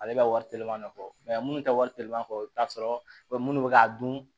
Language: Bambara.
Ale bɛ ka wari telefɔni de kɔ minnu tɛ wari telefɔni kɔ i bɛ t'a sɔrɔ minnu bɛ k'a dun